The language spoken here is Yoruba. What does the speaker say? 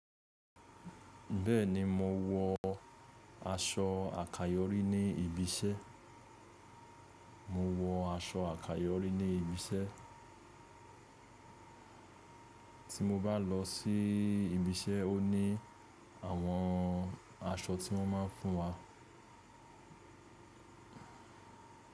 Bẹ́ẹ̀ni, mo wọ aṣọ àkayọ́rí ní ibi iṣẹ́. Mo wọ aṣọ àkayọ́rí ní ibi iṣẹ́. Tí mo bá lọ síi– ibi iṣẹ́ o ní àwọn aṣọ tí wọ́n máa fún wa.